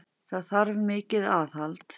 Það þarf mikið aðhald.